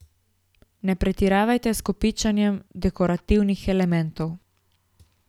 Ne pretiravajte s kopičenjem dekorativnih elementov.